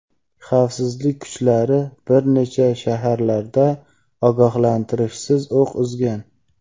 xavfsizlik kuchlari bir necha shaharlarda ogohlantirishsiz o‘q uzgan.